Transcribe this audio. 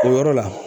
O yɔrɔ la